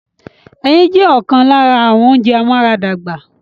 Ẹyin jẹ́ ọ̀kan lára àwọn ounjẹ amúaradàgbà